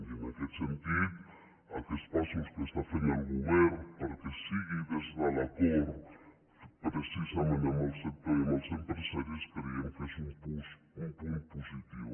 i en aquest sentit aquests passos que està fent el govern perquè sigui des de l’acord precisament amb el sector i amb els empresaris creiem que és un punt positiu